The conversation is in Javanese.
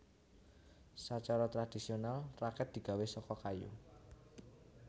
Sacara tradhisional rakèt digawé saka kayu